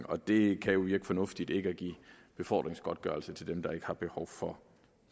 og det kan jo virke fornuftigt ikke at give befordringsgodtgørelse til dem der ikke har behov for